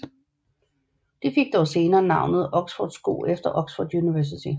De fik dog senere navnet oxfordsko efter Oxford University